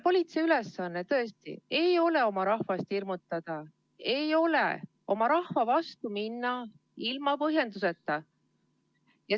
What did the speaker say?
Politsei ülesanne tõesti ei ole oma rahvast hirmutada, ei ole oma rahva vastu minna ilma põhjuseta.